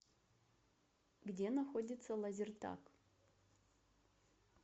где находится лазертаг